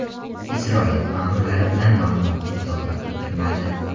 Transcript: Isroil ma’murlari bu ma’lumotni izohlab o‘tirmadi.